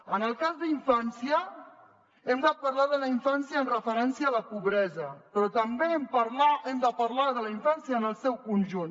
en el cas d’infància hem de parlar de la infància amb referència a la pobresa però també hem de parlar de la infància en el seu conjunt